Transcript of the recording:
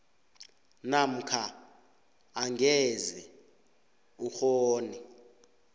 namkha angeze ukghone